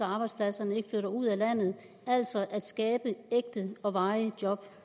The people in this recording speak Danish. arbejdspladserne ikke flytter ud af landet altså skabe ægte og varige job